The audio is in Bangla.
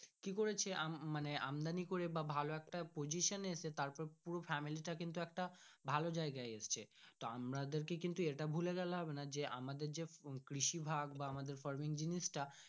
কি করেছে আম মানে আমদানি করে ভালো একটা position এসে তারপরে পুরো family টা কিন্তু একটা ভালো জায়গায় এসছে তো আমাদের কিন্তু এটা ভুলে গেলে হবে না যে আমাদের যে কৃষি ভাগ বা farming জিনিস টা।